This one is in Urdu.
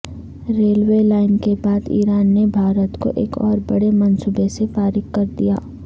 ریلوے لائن کے بعد ایران نے بھارت کو ایک اوربڑے منصوبے سے فارغ کردیا